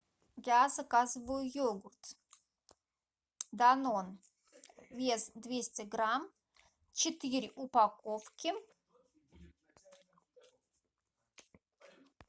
я заказываю йогурт данон вес двести грамм четыре упаковки